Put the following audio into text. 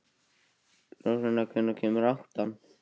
Rósanna, hvenær kemur áttan?